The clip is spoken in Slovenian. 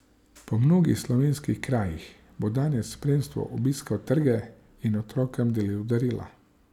Po mnogih slovenskih krajih bo danes s spremstvom obiskal trge in otrokom delil darila.